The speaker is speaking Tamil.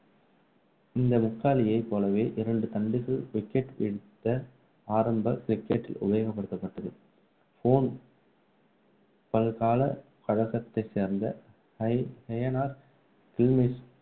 இந்த முக்காலியை போலவே இரண்டு தண்டுகள் wicket வீழ்த்த ஆரம்ப cricket டில் உபயோகப்படுத்தப்பட்டது போன் பல்கலை கழகத்தை சேர்ந்த ஹெய~ ஹெயனர் கில்மெய்ச்டார்